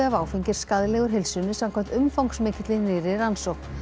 af áfengi er skaðlegur heilsunni samkvæmt umfangsmikilli nýrri rannsókn